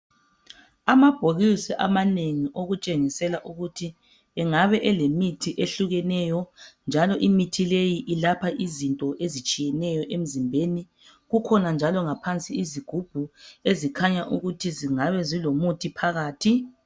Amabhokisi amanengi okutshengisela ukuthi engabe elemithi ehlukeneyo njalo imithi leyi ilapha izinto ezitshiyeneyo emzimbeni. Kukhona njalo ngaphansi izigubhu ezikhanya ukuthi zingabe zilomuthi phakathi.